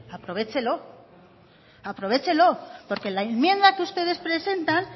aprovéchelo porque la enmienda que ustedes presentan